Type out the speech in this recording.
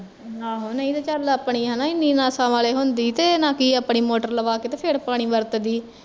ਆਹੋ ਨਹੀਂ ਤੇ ਚੱਲ ਆਪਣੀ ਹੈਨਾ ਏਨੀ ਨਾਸਾ ਵਾਲੀ ਹੁੰਦੀ ਤੇ ਨਾਕਿ ਆਪਣੀ ਮੋਟਰ ਲਵਾ ਕੇ ਤੇ ਫੇਰ ਪਾਣੀ ਵਰਤਦੀ